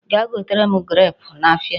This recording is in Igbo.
Gaa gotere m grape n'ahịa.